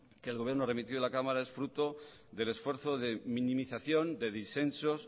que el gobierno ha remitido a la cámara es fruto del esfuerzo de minimización de disensos